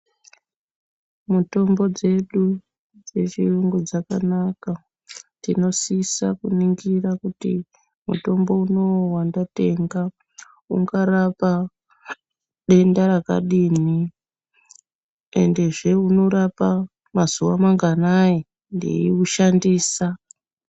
Mutombo dzedu dzechiyungu dzakanaka tinosisa kuningira kuti mutombo unowu wandatenga ungarapa denda rakadini, endezve unorapa mazuva manganai ndeiwushandisa.